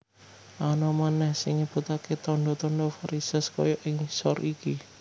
Ana manèh sing nyebutaké tandha tandha varisès kaya ing ngisor iki